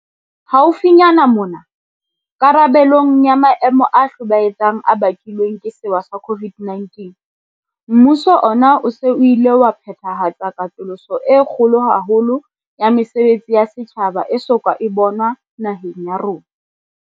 Haufinyane mona, karabelong ya maemo a hlobaetsang a bakilweng ke sewa sa COVID-19, mmuso ona o se o ile wa phethahatsa katoloso e kgolo haholo ya mesebetsi ya setjhaba e so ka e bonwa naheng ya rona.